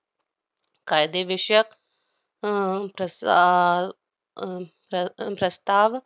कायदेविषयक अं तस~ आह अह प्र~ प्रस्ताव